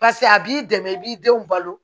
Paseke a b'i dɛmɛ i b'i denw balo